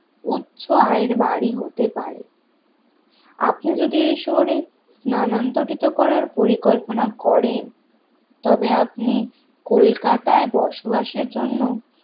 উচ্চ আয়ের বাড়ি হতে পারে আপনি যদি এই শহরে স্থানান্তরিত করার পরিকল্পনা করেন তবে আপনি কলকাতায় বসবাসের জন্য